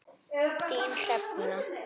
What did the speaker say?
Þín, Hrefna.